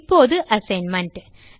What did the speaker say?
இப்போது அசைன்மென்ட்